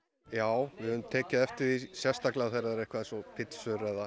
já við höfum tekið eftir því sérstaklega þegar það er eitthvað eins og pítsur eða